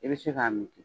I bɛ se k'a min